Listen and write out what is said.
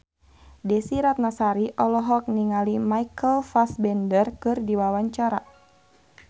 Desy Ratnasari olohok ningali Michael Fassbender keur diwawancara